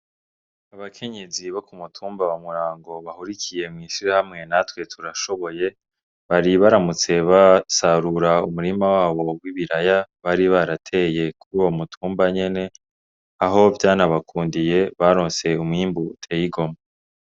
Abakenyezi bo ku mutumba wa Murango bahurikiye mw'ishirahamwe natwe turashoboye bari baramutse basarura umurima wabo w'ibiraya bari barateye kuruwo mutumba nyene aho vyana bakundiye baronse umwimbu uteye igomwe.